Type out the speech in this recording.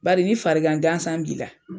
Baari ni farigan gansan b'i la.